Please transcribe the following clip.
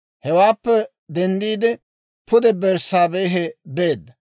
Hewaappe denddiide, pude Berssaabehe beedda.